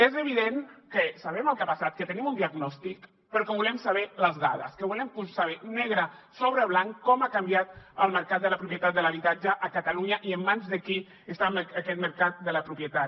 és evident que sabem el que ha passat que tenim un diagnòstic però que volem saber les dades que volem posar negre sobre blanc com ha canviat el mercat de la propietat de l’habitatge a catalunya i en mans de qui està aquest mercat de la propietat